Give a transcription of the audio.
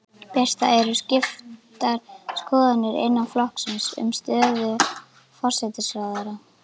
Birta: Eru skiptar skoðanir innan flokksins um stöðu forsætisráðherra?